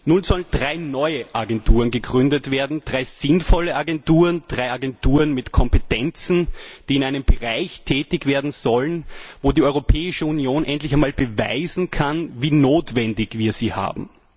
Nun sollen drei neue Agenturen gegründet werden, drei sinnvolle Agenturen, drei Agenturen mit Kompetenzen, die in einem Bereich tätig werden sollen, wo die Europäische Union endlich einmal beweisen kann, wie nötig wir sie haben.